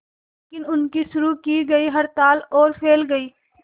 लेकिन उनकी शुरू की गई हड़ताल और फैल गई